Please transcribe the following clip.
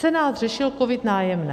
Senát řešil COVID - Nájemné.